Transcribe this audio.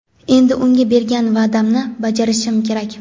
Endi unga bergan va’damni bajarishim kerak.